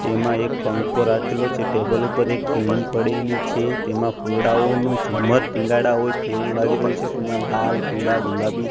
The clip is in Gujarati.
તેમા એક પંખો રાખેલો છે ટેબલ ઉપર એક પેન પડેલી છે તેમા ફુલડાઓનુ ઝુમ્મર ટીંગાડા હોઇ તેવુ લાગી રહ્યુ છે તેમા લાલ પીડા ગુલાબી--